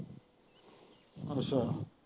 ਅੱਛਾ।